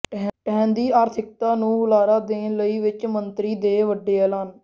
ਢਹਿੰਦੀ ਆਰਥਿਕਤਾ ਨੂੰ ਹੁਲਾਰਾ ਦੇਣ ਲਈ ਵਿੱਤ ਮੰਤਰੀ ਦੇ ਵੱਡੇ ਐਲਾਨ